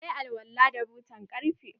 Na yi alwala da butan ƙarfe.